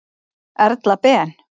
Erla Ben.